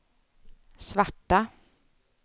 svarta